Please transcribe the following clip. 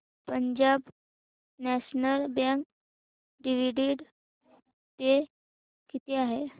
Punjab national bank dividend pay किती आहे